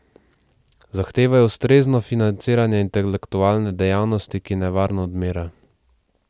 Zahtevajo ustrezno financiranje intelektualne dejavnosti, ki nevarno odmira.